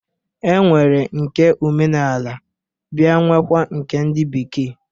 E nwere nke omenala biakwa nwee nke ndị bekee.